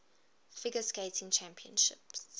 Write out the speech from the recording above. figure skating championships